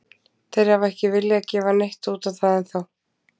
Þeir hafa ekki viljað gefa neitt út á það ennþá.